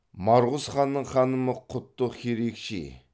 марғұз ханның ханымы құттық херикчи